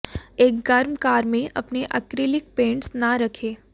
एक गर्म कार में अपने ऐक्रेलिक पेंट्स न रखें